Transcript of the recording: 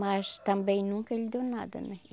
Mas também nunca ele deu nada, né?